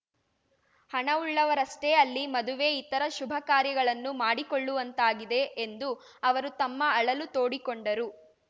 ಹಣವುಳ್ಳವರಷ್ಟೇ ಅಲ್ಲಿ ಮದುವೆ ಇತರ ಶುಭ ಕಾರ್ಯಗಳನ್ನು ಮಾಡಿಕೊಳ್ಳುವಂತಾಗಿದೆ ಎಂದು ಅವರು ತಮ್ಮ ಅಳಲು ತೋಡಿಕೊಂಡರು